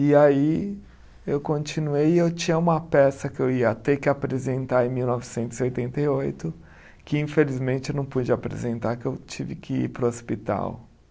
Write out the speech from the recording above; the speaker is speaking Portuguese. E aí eu continuei e eu tinha uma peça que eu ia ter que apresentar em mil novecentos e oitenta e oito, que infelizmente eu não pude apresentar, que eu tive que ir para o hospital.